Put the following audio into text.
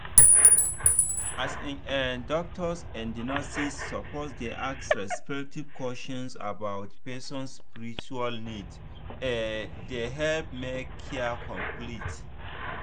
as in[um]doctors and nurses suppose dey ask respectful questions about person spiritual needse dey help make care complete.